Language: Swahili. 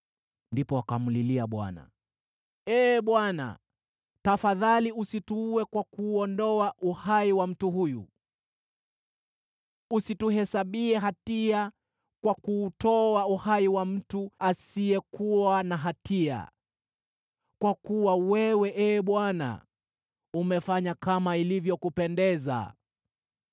Ndipo wakamlilia Bwana , “Ee Bwana , tafadhali usituue kwa kuondoa uhai wa mtu huyu. Usituhesabie hatia kwa kuutoa uhai wa mtu asiyekuwa na hatia, kwa kuwa wewe, Ee Bwana , umefanya kama ilivyokupendeza.”